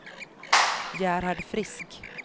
Gerhard Frisk